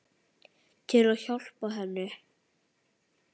Til að hjálpa henni.